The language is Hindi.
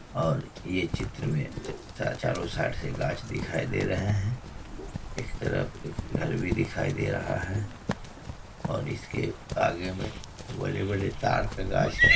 और ये चित्र में ची-चारो साइड गच्छ दिखाई दे रही है । एक तरफ घर भी दिखाई दे रहा है और इसके आगे में बड़े-बड़े तार के गच्छ है ।